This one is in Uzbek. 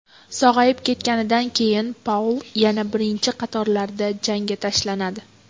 Sog‘ayib ketganidan keyin Paul yana birinchi qatorlarda janga tashlanadi.